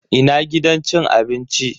Ina gidan cin abinci.